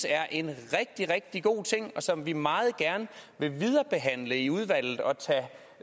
er en rigtig rigtig god ting som vi meget gerne vil viderebehandle i udvalget og